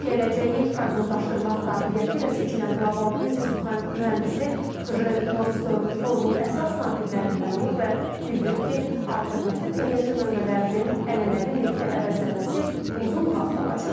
Gələcəyi proqnozlaşdırmaq qabiliyyəti ilə seçilən qlobal biznes mühəndisi Kjel Nordström forumun əsas natiqlərindən olub və bildirib ki, alternativ enerji mənbələrinin ənənəvi nefti əvəzlənməsi uzun vaxt alacaq.